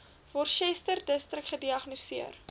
worcesterdistrik gediagnoseer